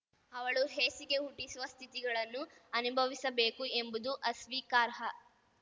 ಅವಳು ಹೇಸಿಗೆ ಹುಟ್ಟಿಸುವ ಸ್ಥಿತಿಗಳನ್ನು ಅನುಭವಿಸಬೇಕು ಎಂಬುದು ಅಸ್ವೀಕಾರ್ಹ